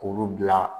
K'olu bila